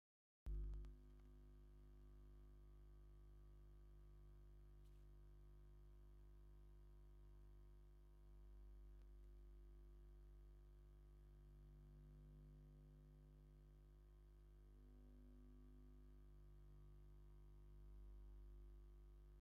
እዚ ለጨሌባ ናይ ሸዕብያ ወራሪ ሻዕበያ እዩ። እዚ ብሂወት እንተሃልዩ ብህዝቢ ትግራይ ብሕጊ ክጥየቅ ኣለዎ። እዚ ናይ ሻዕብያ ዕጡቅ ንህዝቢ ትግራይ ዝቀትልን ዘሳድድ ዝዘርፍን ዝነበረ ዕጡቅ እዩ።